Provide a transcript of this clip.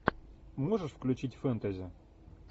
можешь включить фэнтези